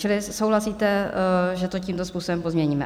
Čili souhlasíte, že to tímto způsobem pozměníme?